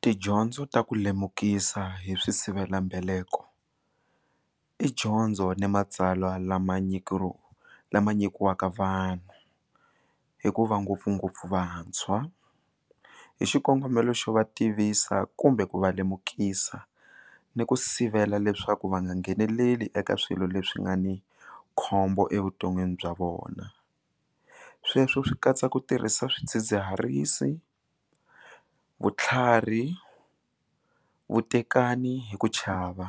Tidyondzo ta ku lemukisa hi swi sivelambeleko i dyondzo ni matsalwa lama lama nyikiwaka vanhu hikuva ngopfungopfu vantshwa hi xikongomelo xo va tivisa kumbe ku va lemukisa ni ku sivela leswaku va nga ngheneleli eka swilo leswi nga ni khombo evuton'wini bya vona sweswo swi katsa ku tirhisa swidzidziharisi vutlhari vutekani hi ku chava